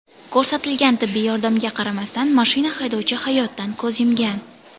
Ko‘rsatilgan tibbiy yordamga qaramasdan mashina haydovchi hayotdan ko‘z yumgan.